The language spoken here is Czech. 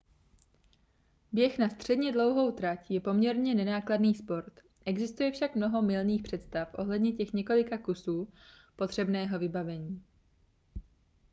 běh na středně dlouhou trať je poměrně nenákladný sport existuje však mnoho mylných představ ohledně těch několika kusů potřebného vybavení